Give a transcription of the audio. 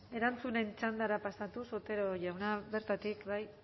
erantzunen txandara pasatuz otero jauna bertatik bai